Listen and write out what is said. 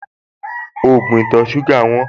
Ògùn ìtọ̀-ṣúgà wọ́n